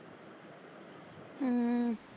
ਹਮ